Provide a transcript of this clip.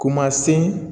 Ko ma se